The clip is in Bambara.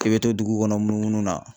K'i bɛ to dugu kɔnɔ munumun na